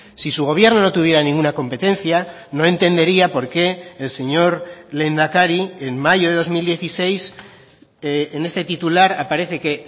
si su gobierno no tuviera ninguna competencia no entendería por qué el señor lehendakari en mayo de dos mil dieciséis en este titular aparece que